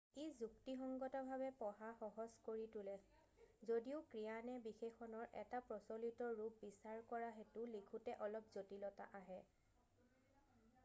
ই যুক্তিসংগতভাৱে পঢ়া সহজ কৰি তোলে যদিও ক্ৰিয়া নে বিশেষণৰ এটা প্ৰচলিত ৰূপ বিচাৰ কৰা হেতু লিখোঁতে অলপ জটিলতা আহে